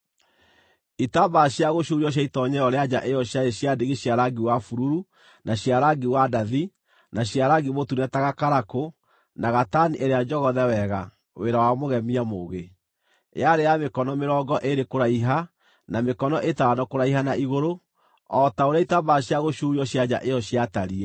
Itambaya cia gũcuurio cia itoonyero rĩa nja ĩyo ciarĩ cia ndigi cia rangi wa bururu, na cia rangi wa ndathi, na cia rangi mũtune ta gakarakũ, na gatani ĩrĩa njogothe wega; wĩra wa mũgemia mũũgĩ. Yarĩ ya mĩkono mĩrongo ĩĩrĩ kũraiha, na mĩkono ĩtano kũraiha na igũrũ, o ta ũrĩa itambaya cia gũcuurio cia nja ĩyo ciatariĩ.